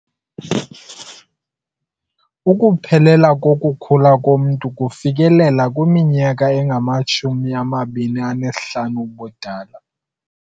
Ukuphelela kokukhula komntu kufikelelwa kwiminyaka engamashumi amabini anesihlanu ubudala.